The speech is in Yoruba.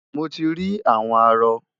Mo ti rí àwọn arọ.